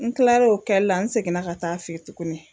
N kilar'o kɛlila n seginna ka taa fɛ yen tuguni